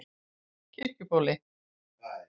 Kirkjubóli